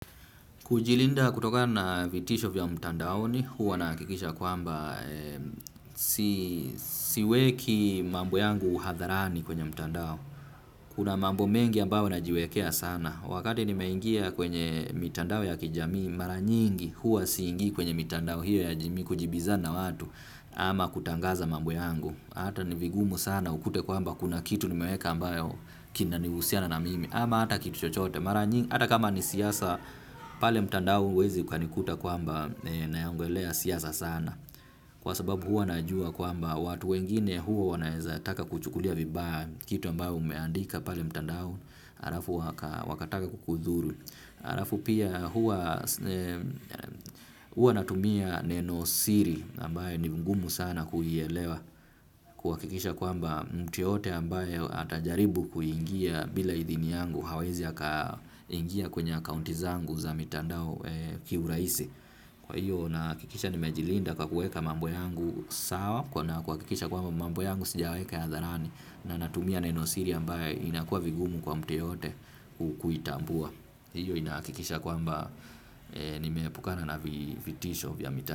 Kujilinda kutokana na vitisho vya mtandaoni, huwa nahakikisha kwamba siweki mambo yangu uhadharani kwenye mtandao. Kuna mambo mengi ambao najiwekea sana. Wakati ni meingia kwenye mitandao ya kijamii, mara nyingi huwa siingii kwenye mitandao hiyo ya jamii kujibizana watu ama kutangaza mambo yangu. Hata ni vigumu sana ukute kwamba kuna kitu nimeweka ambayo kinahusiana na mimi. Ama hata kitu chochote, mara nyingi, hata kama ni siasa pale mtandao huwezi ukanikuta kwamba naiongelea siasa sana. Kwa sababu huwa najua kwamba watu wengine huwa wanaweza taka kuchukulia vibaya kitu ambao umeandika pale mtandao halafu waka wakataka kukudhuru, halafu pia huwa huwa natumia neno siri ambayo ni ngumu sana kuielewa. Kuhakikisha kwamba mtu yeyote ambaye atajaribu kuingia bila idhini yangu hawezi akaingia kwenye akaunti zangu za mitandao kiurahisi. Kwa hiyo nahakikisha nimejilinda kwa kuweka mambo yangu sawa na kuhakikisha kwamba mambo yangu sijaweka hadharani na natumia nenosiri ambayo inakuwa vigumu kwa mtu yeyote kutambua. Hiyo inahakikisha kwamba nimeepukana na vitisho vya mitandao.